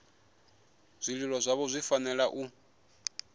zwililo zwavho zwi fanela u